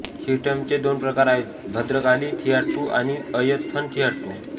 थियट्टमचे दोन प्रकार आहेत भद्रकाली थियाट्टू आणि अय्यप्पन थियाट्टू